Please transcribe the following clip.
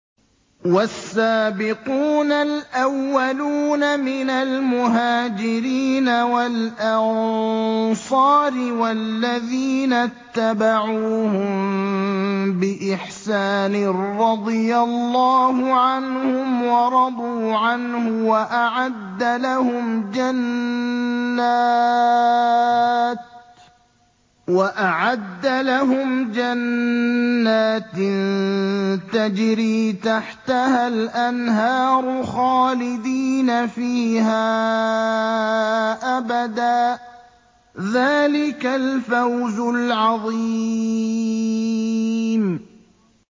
وَالسَّابِقُونَ الْأَوَّلُونَ مِنَ الْمُهَاجِرِينَ وَالْأَنصَارِ وَالَّذِينَ اتَّبَعُوهُم بِإِحْسَانٍ رَّضِيَ اللَّهُ عَنْهُمْ وَرَضُوا عَنْهُ وَأَعَدَّ لَهُمْ جَنَّاتٍ تَجْرِي تَحْتَهَا الْأَنْهَارُ خَالِدِينَ فِيهَا أَبَدًا ۚ ذَٰلِكَ الْفَوْزُ الْعَظِيمُ